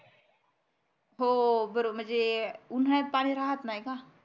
हो बरोबर म्हणजे उन्हाळ्यात पाणी राहत नाही का